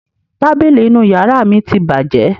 Tábìlì inú ìyàrá mi ti bàjẹ́.